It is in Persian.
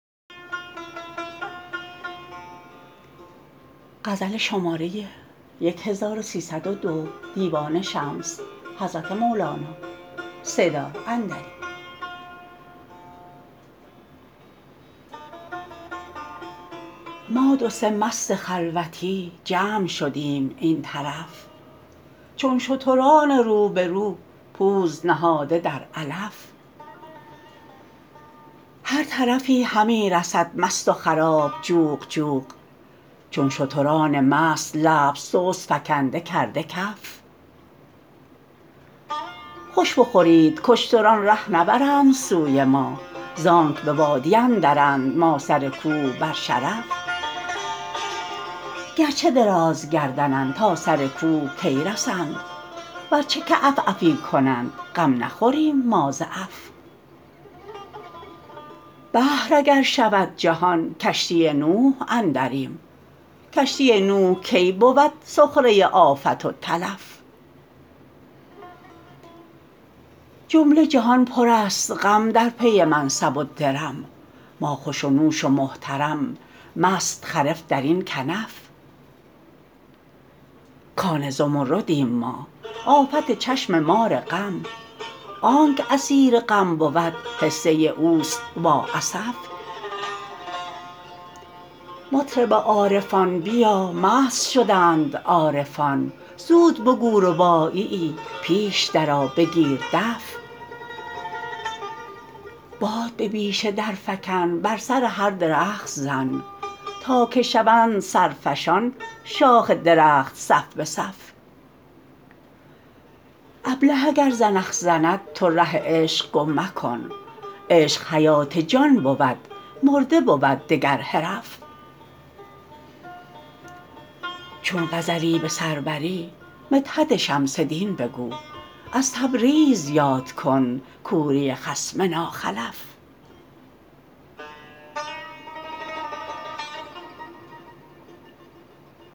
ما دو سه مست خلوتی جمع شدیم این طرف چون شتران رو به رو پوز نهاده در علف هر طرفی همی رسد مست و خراب جوق جوق چون شتران مست لب سست فکنده کرده کف خوش بخورید کاشتران ره نبرند سوی ما زآنک به وادی اندرند ما سر کوه بر شرف گر چه درازگردنند تا سر کوه کی رسند ور چه که عف عفی کنند غم نخوریم ما ز عف بحر اگر شود جهان کشتی نوح اندریم کشتی نوح کی بود سخره آفت و تلف جمله جهان پرست غم در پی منصب و درم ما خوش و نوش و محترم مست خرف در این کنف کان زمردیم ما آفت چشم مار غم آنک اسیر غم بود حصه اوست وا اسف مطرب عارفان بیا مست شدند عارفان زود بگو رباعیی پیش درآ بگیر دف باد به بیشه درفکن بر سر هر درخت زن تا که شوند سرفشان شاخ درخت صف به صف ابله اگر زنخ زند تو ره عشق گم مکن عشق حیات جان بود مرده بود دگر حرف چون غزلی به سر بری مدحت شمس دین بگو از تبریز یاد کن کوری خصم ناخلف